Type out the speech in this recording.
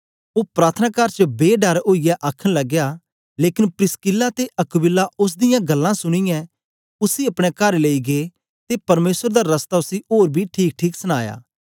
ओ प्रार्थनाकार च बे डर ओईयै आखन लगया लेकन प्रिसकिल्ला ते अक्विला ओस दियां गल्लां सुनीयै उसी अपने कार लेई गै ते परमेसर दा रस्ता उसी ओर बी ठीकठीक सनाया